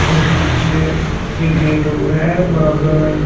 और पीछे एक गेट और है बराबर मे--